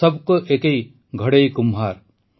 ସଭ୍ କୌ ଏକୈ ଘଡୈ କୁମ୍ହାର୍